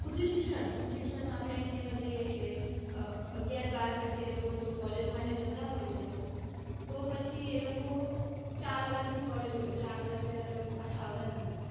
ઉચ્ચશિક્ષણ ઉચ્ચશિક્ષણ માં આપડે એમ કેવા જઇયે કે અગિયાર બાર પછી એ લોકો જો college માટે જતા હોય છે તો પછી એ લોકો ચાર વર્ષની કોલેજ હોય તો ચાર વરસ પેલા તો એ લોકો પાછા આવતા જ નથી.